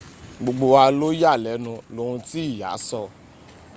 gbogbo wa ló yà lẹ́nu lohun tí ìyá sọ